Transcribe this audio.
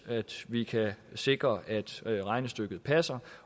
vi kan sikre at at regnestykket passer